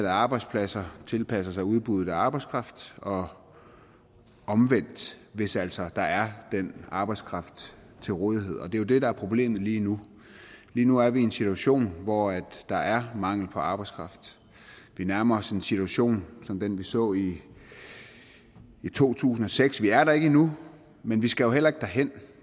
arbejdspladser tilpasser sig udbuddet af arbejdskraft og omvendt hvis altså der er den arbejdskraft til rådighed og det er jo det der er problemet lige nu lige nu er vi i en situation hvor der er mangel på arbejdskraft vi nærmer os en situation som den vi så i to tusind og seks vi er der ikke endnu men vi skal jo heller ikke derhen